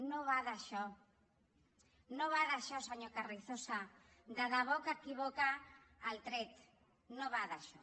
no va d’això no va d’això senyor carrizosa de debò que equivoca el tret no va d’això